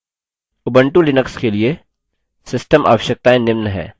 Ubuntu Linux के लिए system आवश्यकताएँ निम्न हैं